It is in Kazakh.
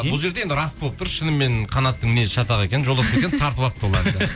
бұл жерде енді рас болып тұр шынымен қанаттың мінезі шатақ екен